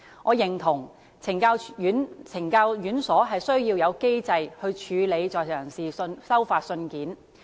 我認同懲教院所需要有機制處理在囚人士收發信件。